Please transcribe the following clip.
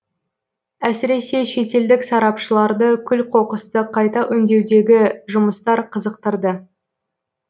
әсіресе шетелдік сарапшыларды күл қоқысты қайта өңдеудегі жұмыстар қызықтырды